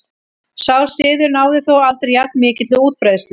Sá siður náði þó aldrei jafn mikilli útbreiðslu.